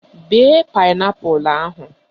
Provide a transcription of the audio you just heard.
Bee paịnapụl ahụ!